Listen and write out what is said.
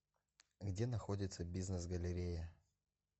где находится бизнес галерея